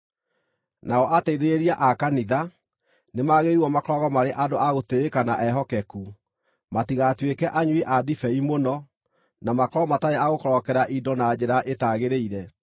Nao ateithĩrĩria a kanitha, nĩmagĩrĩirwo makoragwo marĩ andũ a gũtĩĩka na ehokeku, matigatuĩke anyui a ndibei mũno, na makorwo matarĩ a gũkorokera indo na njĩra ĩtagĩrĩire.